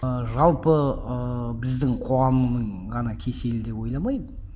ыыы жалпы ыыы біздің қоғамның ғана кеселі деп ойламаймын